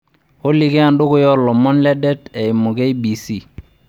olly kaa endukuya oo ilomon ledet ayimu k.b.c